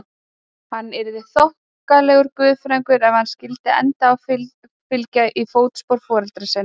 Hann yrði þokkalegur guðfræðingur ef hann skyldi enda á að fylgja í fótspor foreldra sinna.